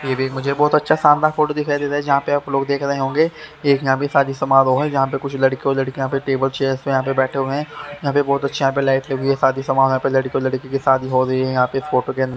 ये भी मुझे बहुत अच्छा शानदार फोटो दिखाई दे रहा जहां पे आप लोग देख रहे होंगे एक यहां भी शादी समारोह है जहां पे कुछ लड़के और लड़कियों यहां पे टेबल चेयर्स यहां पे बैठे हुए हैं यहां पे बहुत अच्छे लाइट लगी हुई है यहां पे शादी समरोह है लड़के और लड़की की शादी हो रही है यहां पे फोटो के --